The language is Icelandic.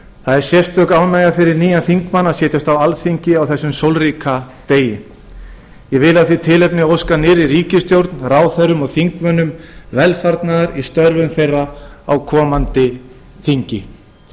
það er sérstök ánægja fyrir nýjan þingmann að setjast á alþingi á þessum sólríka degi ég vil af því tilefni óska nýrri ríkisstjórn ráðherrum og þingmönnum velfarnaðar í störfum þeirra á komandi þingi